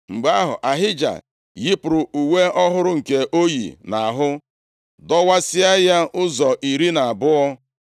Mgbe ahụ, Ahija yipụrụ uwe ọhụrụ nke o yi nʼahụ dọwasịa ya ụzọ iri na abụọ.